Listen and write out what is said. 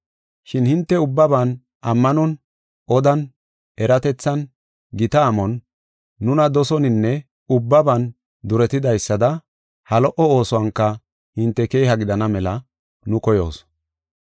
Shin hinte ubbaban, ammanon, odan, eratethan, gita amon, nuna dosoninne ubbaban duretidaysada ha lo77o oosuwanka hinte keeha gidana mela nu koyoos.